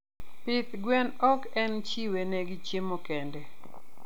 Pith gwen ok en chiwe ne gi chiemo kende.